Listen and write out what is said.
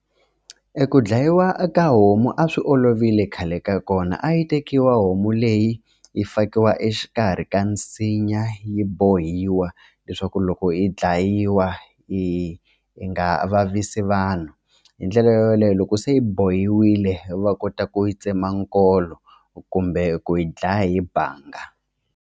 E ku dlayiwa ka homu a swi olovile khale ka kona a yi tekiwa homu leyi yi fakiwa exikarhi ka nsinya yi bohiwa leswaku loko yi dlayiwa hi yi nga vavisi vanhu hi ndlela yoleyo loko se yi bohiwile va kota ku yi tsema nkolo kumbe ku yi dlaya hi bangi.